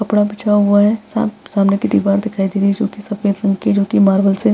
कपड़ा बिछाया हुआ है। साम सामने की दीवार दिखाई दे रही है जो कि सफेद रंग की जो की मार्वल से --